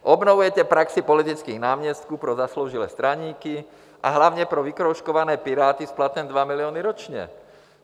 Obnovujete praxi politických náměstků pro zasloužilé straníky, a hlavně pro vykroužkované Piráty s platem 2 miliony ročně.